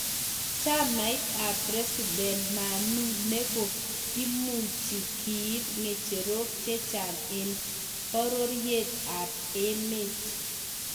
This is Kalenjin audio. Chamaita ab president Manu neko imuchi kiib ngecherok chechang eng bororiet ab emet.